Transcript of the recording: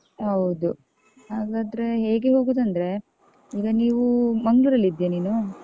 ಹೌದು. ಹಾಗಾದ್ರೆ ಹೇಗೆ ಹೋಗುದಂದ್ರೆ, ಈಗ ನೀವು Mangalore ಅಲ್ಲಿದ್ಯಾ ನೀನು?